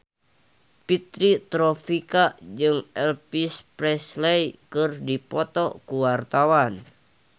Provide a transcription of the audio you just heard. Fitri Tropika jeung Elvis Presley keur dipoto ku wartawan